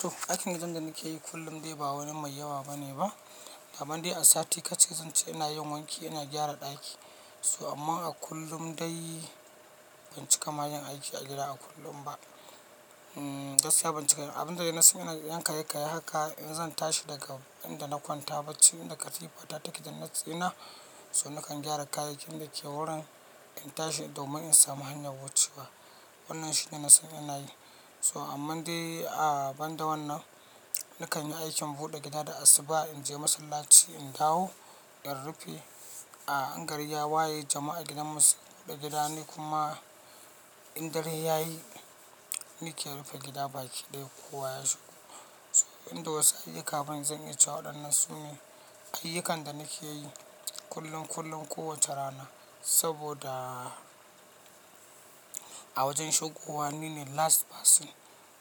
To aikin wajan da ni ke yi kullum dai ba wani mai yawa bane ba. Da banda a sati ka ce zan ce ina yin wanki, ina gyara ɗaki. So amma a kullum dai ban cika ma yin aiki a gida a kullum ba. Hmm gaskiya ban cika yi. Abinda dai na san ina yan kayi kayi haka in zan tashi daga inda na kwanta bacci inda katifa ta take da na tsina, so nakan gyara kayakin da ke wurin in tashi domin in samu hanyar wucewa. Wannan shine na san ina yi. So amman dai a banda wannan, nakan yi aikin buɗe gida da asuba in je masallaci in dawo, in rufe. A in gari ya waye jama'a gidanmu su buɗe gida ne kuma in dare ya yi ni ke rufe gida baki ɗaya kowa ya shigo. So inda wasa yake kafin zan iya cewa wadanan sune ayyukan da nake yi kullum kullum kowace rana. Saboda a wajen shigowa nine last person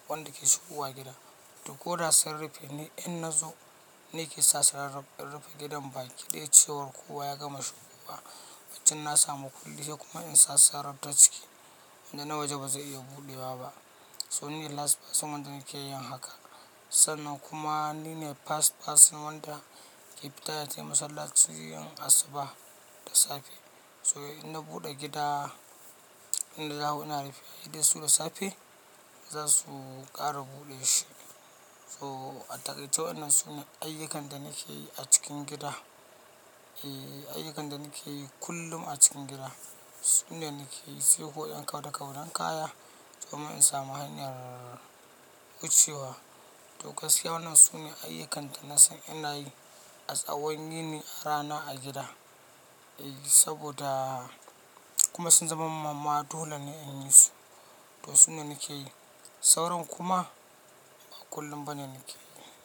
wanda ke shigowa gida. To ko da sun rufe ne in na zo ni ke sassara rufe gidan baki ɗaya cewar kowa ya gama shigowa. Wancan na sa mukulli kuma in sassara ta cike wanda na waje ba zai iya buɗewa ba. So nine last person wanda nake yin haka. Sannan kuma nine first person wanda ke fita ya je masallaci in asuba da safe. So in na buɗe gida, ina dawo ina rufe. Idan su da safe za su ƙara buɗe shi. So a taƙaice wannan sune ayyukan da nake yi a cikin gida. E ayyukan da nake yi kullum a cikin gida. Su ne nake yi. Sai kuwa in kauda kaudan kaya domin in samu hanyar wucewa. To gaskiya wannan sune ayyukan da na san ina yi a tsawon nine rana a gida. E saboda kuma sun zama ma ma dole ne in yi su. To su ne nake yi. Sauran kuma ba kullum bane nake yi.